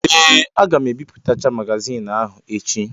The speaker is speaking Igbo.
Ee! Aga m ebipụtacha magazioni ahụ echi.